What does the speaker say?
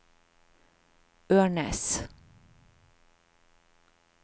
Ørnes